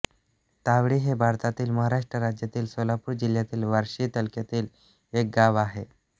तावडी हे भारतातील महाराष्ट्र राज्यातील सोलापूर जिल्ह्यातील बार्शी तालुक्यातील एक गाव आहे